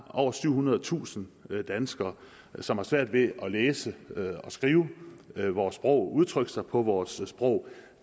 over syvhundredetusind danskere som har svært ved at læse og skrive vores sprog og udtrykke sig på vores sprog